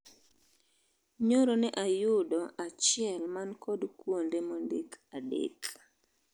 Nyoro ne ayudo achiel man kod kuonde mondik adek.